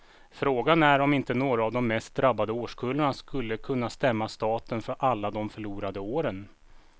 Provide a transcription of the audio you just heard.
Frågan är om inte några av de mest drabbade årskullarna skulle kunna stämma staten för alla de förlorade åren.